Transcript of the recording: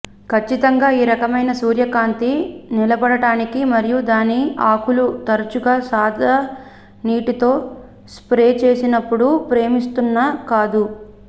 ఖచ్చితంగా ఈ రకమైన సూర్యకాంతి నిలబడటానికి మరియు దాని ఆకులు తరచుగా సాదా నీటితో స్ప్రే చేసినప్పుడు ప్రేమిస్తున్న కాదు